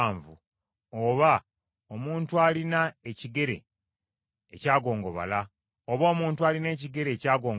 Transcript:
oba omuntu alina ekigere ekyagongobala, oba omukono ogwalemala,